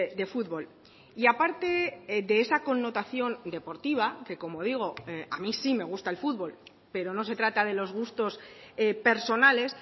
de fútbol y a parte de esa connotación deportiva que como digo a mí sí me gusta el fútbol pero no se trata de los gustos personales